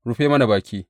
Rufe mana baki!